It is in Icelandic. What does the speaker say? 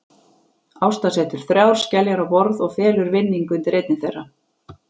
Ásta setur þrjár skeljar á borð og felur vinning undir einni þeirra.